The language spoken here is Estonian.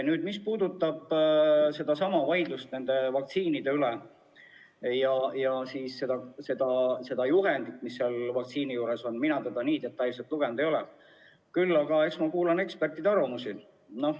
Nüüd, mis puudutab seda vaidlust nende vaktsiinide üle ja juhendit, mis vaktsiini juures on – mina seda nii detailselt lugenud ei ole, küll aga kuulan ma ekspertide arvamusi.